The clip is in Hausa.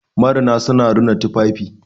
marina suna rina tufafi